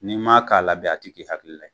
N'i m'a k'a la bɛ a tɛ k'i hakili la ye